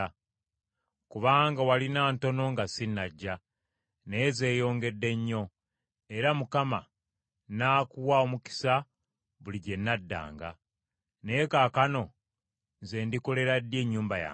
Kubanga walina ntono nga sinnajja, naye zeeyongedde nnyo; era Mukama n’akuwa omukisa buli gye n’addanga. Naye kaakano nze ndikolera ddi ennyumba yange?”